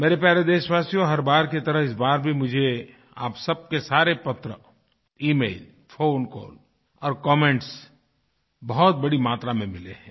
मेरे प्यारे देशवासियो हर बार की तरह इस बार भी मुझे आप सबके सारे पत्रemail फोनकॉल और कमेंट्स बहुत बड़ी मात्रा में मिले हैं